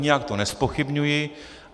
Nijak to nezpochybňuji.